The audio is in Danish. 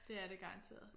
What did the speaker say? Det er det garanteret